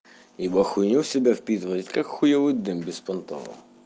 ибо хуйню в себя впитывает как хуевый дым беспонтово